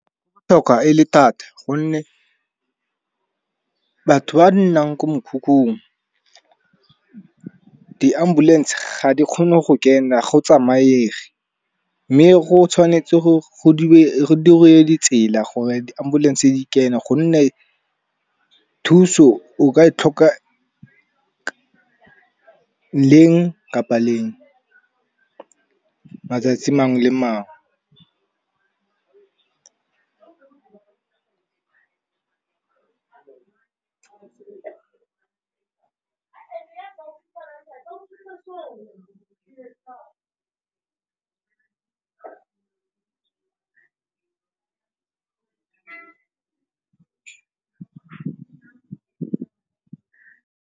Botlhokwa e le thata gonne batho ba nnang ko mekhukhung, di ambulense ga di kgone go kena ga go tsamaege. Mme go tshwanetse go diriwe ditsela gore di ambulense di kene gonne thuso o ka e tlhoka leng kapa leng matsatsi mangwe le mangwe.